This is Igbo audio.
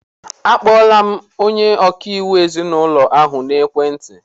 A kpọọla m onye ọkaiwu ezinaụlọ ahụ n'ekwentị.